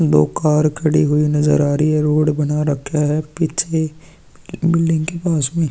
दो कार खड़ी हुई नज़र आ रही है रोड बना रखा है पीछे बिलडिंग के पास में --